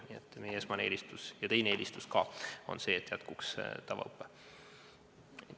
Nii et meie esimene ja ka teine eelistus on see, et jätkuks tavaõpe.